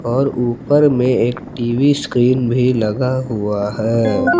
और ऊपर में एक टी_वी स्क्रीन भी लगा हुआ है।